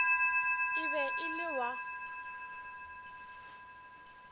e be e le wa